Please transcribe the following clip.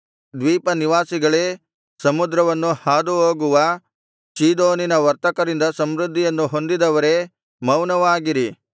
ದ್ವೀಪಗಳ ನಿವಾಸಿಗಳೇ ಸಮುದ್ರವನ್ನು ಹಾದು ಹೋಗುವ ಚೀದೋನಿನ ವರ್ತಕರಿಂದ ಸಮೃದ್ಧಿಯನ್ನು ಹೊಂದಿದವರೇ ಮೌನವಾಗಿರಿ